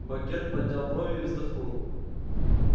богерт поднял брови и вздохнул